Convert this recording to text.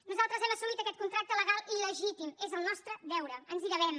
nosaltres hem assumit aquest contracte legal i legítim és el nostre deure ens hi devem